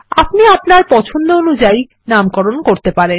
আপনি আপনার পছন্দ অনুযায়ী নামকরণ করতে পারেন